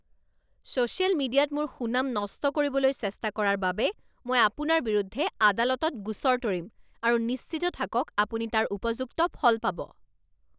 social মিডিয়াত মোৰ সুনাম নষ্ট কৰিবলৈ চেষ্টা কৰাৰ বাবে মই আপোনাৰ বিৰুদ্ধে আদালতত গোচৰ তৰিম আৰু নিশ্চিত থাকক আপুনি তাৰ উপযুক্ত ফল পাব